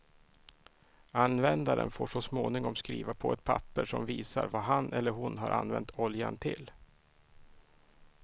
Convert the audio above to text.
Användaren får så småningom skriva på ett papper som visar vad han eller hon har använt oljan till.